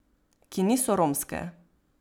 Ki niso romske.